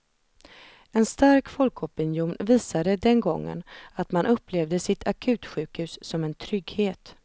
En stark folkopinion visade den gången att man upplevde sitt akutsjukhus som en trygghet.